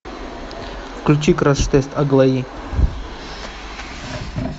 включи краш тест аглаи